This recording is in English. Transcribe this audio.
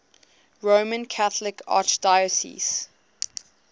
roman catholic archdiocese